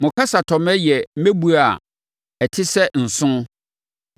Mo kasatɔmmɛ yɛ mmɛbuo a ɛte sɛ nsõ; mo anoyie yɛ dɔteɛ.